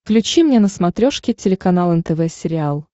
включи мне на смотрешке телеканал нтв сериал